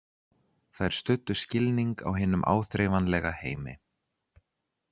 Þær studdu skilning á hinum áþreifanlega heimi.